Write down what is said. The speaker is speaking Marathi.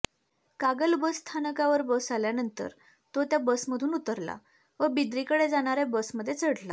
कागल बसस्थानकावर बस आल्यानंतर तो त्या बसमधून उतरला व बिद्रीकडे जाणाऱया बसमध्ये चढला